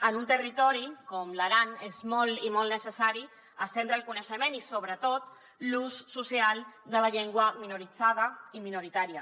en un territori com l’aran és molt i molt necessari estendre el coneixement i sobretot l’ús social de la llengua minoritzada i minoritària